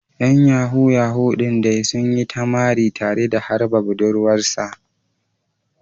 ‘Yan Yahoo Yahoo din dai sun yi ta mari tare da harba budurwar sa.